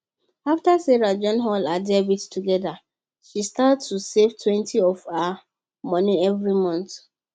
after sarah join all her debts together she start to savetwentyof her money every month